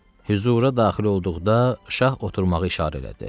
Hüzura daxil olduqda şah oturmağı işarə elədi.